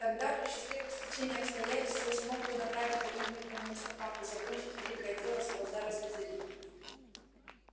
тогда при счастливом стечении обстоятельств я смог бы направить кого-нибудь по моим стопам и закончить великое дело салазара слизерина